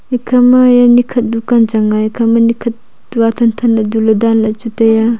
e khama ye ni khat dukan changa e kha ma ni khat tu thanthan du a dan la chu taiya.